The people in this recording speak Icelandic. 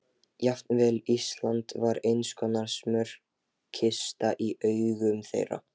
Jafnvel Ísland var einskonar smjörkista í augum þeirra.